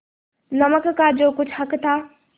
नमक का जो कुछ हक था